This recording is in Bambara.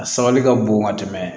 A sabali ka bon ka tɛmɛ